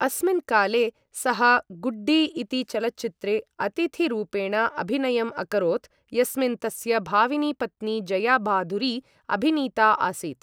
अस्मिन् काले, सः गुड्डी इति चलच्चित्रे अतिथिरूपेण अभिनयम् अकरोत्, यस्मिन् तस्य भाविनी पत्नी जया बाधुरी अभिनीता आसीत्।